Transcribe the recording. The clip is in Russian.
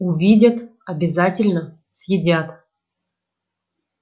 увидят обязательно съедят